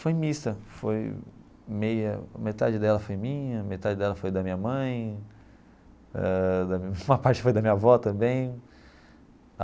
Foi mista, foi meia metade dela foi minha, metade dela foi da minha mãe ãh, uma parte foi da minha avó também.